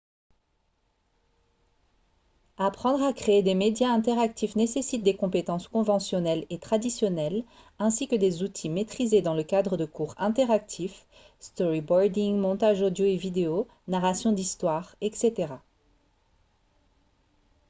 apprendre à créer des médias interactifs nécessite des compétences conventionnelles et traditionnelles ainsi que des outils maîtrisés dans le cadre de cours interactifs storyboarding montage audio et vidéo narration d'histoires etc.